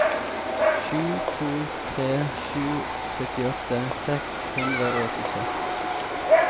sju to tre sju syttiåtte seks hundre og åttiseks